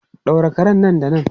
Daure karen nan da nan!